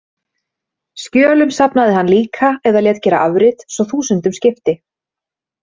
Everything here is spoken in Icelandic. Skjölum safnaði hann líka eða lét gera afrit, svo þúsundum skipti.